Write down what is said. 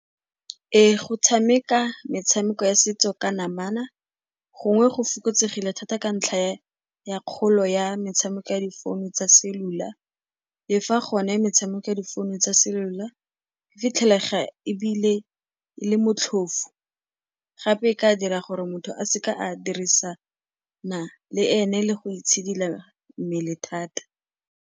Ee, go tshameka metshameko ya setso ka namana gongwe go fokotsegile thata ka ntlha ya kgolo ya metshameko ya difounu tsa cellular. Le fa gone metshameko ya difounu tsa cellular e fitlhelega ebile e le motlhofo, gape e ka dira gore motho a seka a dirisana le ene le go itshidila mmele thata.